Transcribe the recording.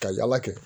Ka yala kɛ